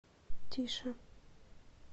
тише